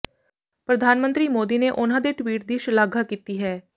ਪ੍ਰਧਾਨ ਮੰਤਰੀ ਮੋਦੀ ਨੇ ਉਨ੍ਹਾਂ ਦੇ ਟਵੀਟ ਦੀ ਸ਼ਲਾਘਾ ਕੀਤੀ ਹੈ